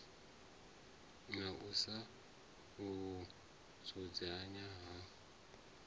na u sa fhungudzea ha